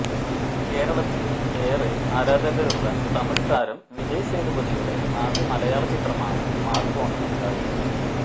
കേരളത്തില് ഏറെ ആരാധകരുള്ള തമിഴ് താരം വിജയ് സേതുപതിയുടെ ആദ്യ മലയാള ചിത്രമാണ് മാര്ക്കോണി മത്തായി